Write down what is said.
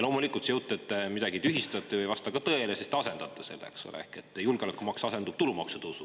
Loomulikult, see jutt, et te midagi tühistate, ei vasta ka tõele, sest te asendate selle, julgeolekumaks asendub tulumaksu tõusuga.